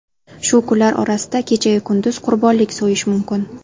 Shu kunlar orasida kechayu kunduz qurbonlik so‘yish mumkin.